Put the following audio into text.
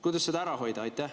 Kuidas seda ära hoida?